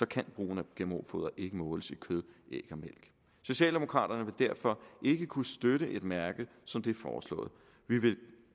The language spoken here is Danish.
kan brugen af gmo foder ikke måles i kød æg og mælk socialdemokraterne vil derfor ikke kunne støtte et mærke som det foreslåede vi vil